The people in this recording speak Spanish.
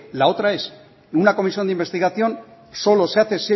la otra es una comisión de investigación solo se hace